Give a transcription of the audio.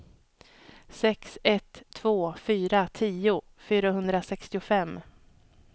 sex ett två fyra tio fyrahundrasextiofem